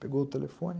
Pegou o telefone.